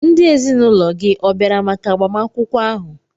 Ndị ezinụlọ gị ọ̀ bịara maka agbamakwụkwọ ahụ?